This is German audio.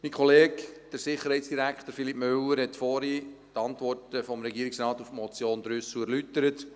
Mein Kollege, Sicherheitsdirektor Philippe Müller, hat vorhin die Antworten des Regierungrates auf die Motion Trüssel erläutert.